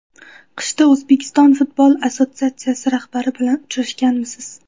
Qishda O‘zbekiston futbol assotsiatsiyasi rahbariyati bilan uchrashganmisiz?